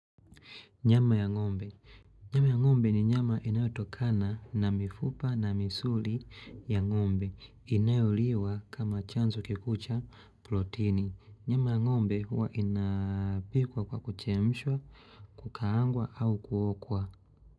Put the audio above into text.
Nyama ya ng'ombe, nyama ya ng'ombe ni nyama inayotokana na mifupa na misuli ya ng'ombe inayoliwa kama chanzo kikuu cha protini Nyama ya ng'ombe huwa inapikwa kwa kuchemshwa kukaangwa au kuokwa.